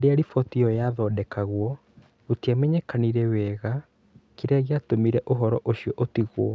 Rĩrĩa riboti ĩyo yaathondekagwo, gũtiamenyekire wega kĩrĩa gĩatũmire ũhoro ũcio ũtigwo.